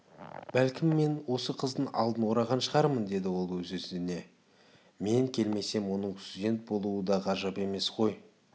бәлкім мен осы қыздың алдын ораған шығармын деді ол өзіне-өзі мен келмесем оның студент болуы да ғажап емес қой